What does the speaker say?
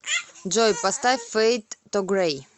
джой поставь фэйд ту грэй